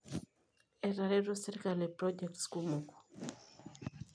Etareto serkali projects kumok.